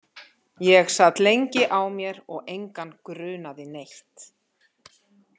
Ég sat lengi á mér og engan grunaði neitt.